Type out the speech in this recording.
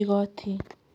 Igooti: